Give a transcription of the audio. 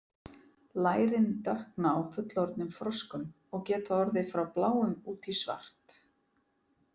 Lærin dökkna á fullorðnum froskum og geta orðið frá bláum út í svart.